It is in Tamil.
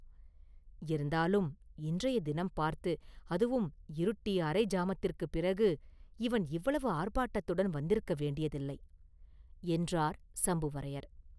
“இருந்தாலும் இன்றைய தினம் பார்த்து, அதுவும் இருட்டி அரை ஜாமத்திற்குப் பிறகு, இவன் இவ்வளவு ஆர்ப்பாட்டத்துடன் வந்திருக்க வேண்டியதில்லை!” என்றார் சம்புவரையர்.